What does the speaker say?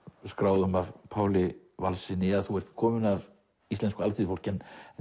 skráðum að Páli Valssyni að þú ert kominn af íslensku alþýðufólki en